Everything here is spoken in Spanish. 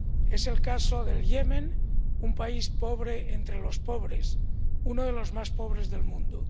Es el caso de Yemen, un país pobre entre los pobres, uno de los más pobres del mundo.